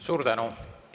Suur tänu!